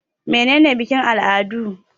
Mene ne bikin-al'adu?